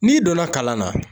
N'i donna kalan na